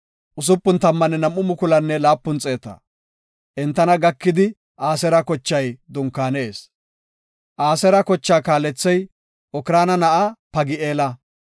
Entana gakidi Aseera kochay dunkaanees. Aseera kochaa kaalethey Okraana na7aa Pagi7eela.